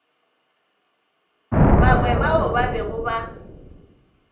bangwe bao ba bego ba